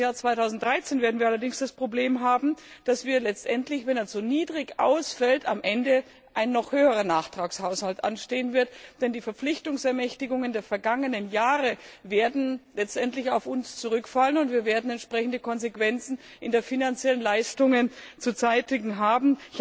Für das Jahr 2013 werden wir allerdings das Problem haben, dass, wenn der Haushalt zu niedrig ausfällt, am Ende ein noch höherer Nachtragshaushalt anstehen wird, denn die Verpflichtungsermächtigungen der vergangenen Jahre werden letztendlich auf uns zurückfallen und wir werden entsprechende Konsequenzen bei den finanziellen Leistungen zu tragen haben.